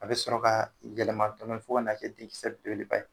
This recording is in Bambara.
A bɛ sɔrɔ kaa gɛlɛma dɔɔni fo kan'a kɛ di kisɛ belebeleba ye